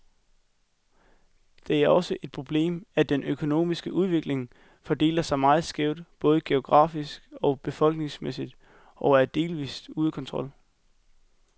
Det er også et problemet, at den økonomiske udvikling fordeler sig meget skævt, både geografisk og befolkningsmæssigt, og er delvist ude af kontrol.